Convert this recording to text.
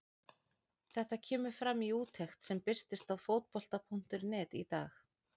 Þetta kemur fram í úttekt sem birtist á Fótbolta.net í dag.